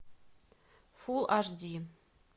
фулл аш ди